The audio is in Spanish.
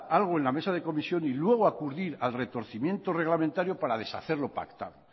algo en la mesa de comisión y luego acudir al retorcimiento reglamentario para deshacer lo pactado